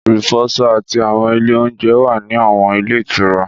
Ìfọṣọ àti àwọn ilé oúnjẹ wà ní àwọn ilé ìtura